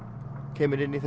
kemur í